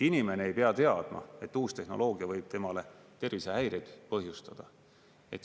Inimene ei pea teadma, et uus tehnoloogia võib temale tervisehäireid põhjustada.